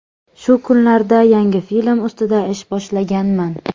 Shu kunlarda yangi film ustida ish boshlaganman.